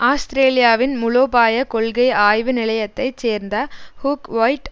ஆஸ்திரேலியாவின் முலோபாய கொள்கை ஆய்வு நிலையத்தைச் சேர்ந்த ஹூக் ஓல்ட்